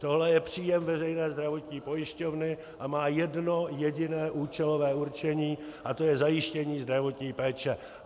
Tohle je příjem Veřejné zdravotní pojišťovny a má jedno jediné účelové určení a to je zajištění zdravotní péče.